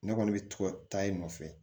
Ne kɔni bɛ to ka taa i nɔfɛ